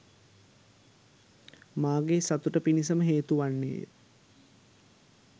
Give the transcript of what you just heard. මාගේ සතුට පිණිසම හේතු වන්නේ ය.